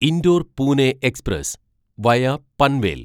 indoor Pune express via Panvel